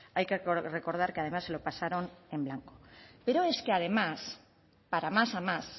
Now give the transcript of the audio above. hay que recordar que además se lo pasaron en blanco pero es que además para más a más